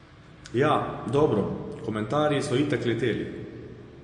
Ja, dobro, komentarji so itak leteli.